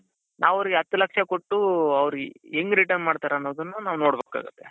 ನಾವು ಅವರಿಗೆ ಹತ್ತು ಲಕ್ಷ ಕೊಟ್ಟು ಅವರು ಹೆಂಗ್ return ಮಾಡ್ತಾರೆ ಅನ್ನೋದನ್ನ ನಾವ್ ನೋಡಬೇಕಾಗುತ್ತೆ.